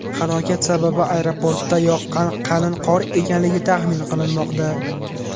Halokat sababi aeroportda yoqqan qalin qor ekanligi taxmin qilinmoqda.